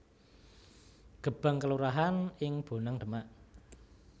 Gebang kelurahan ing Bonang Demak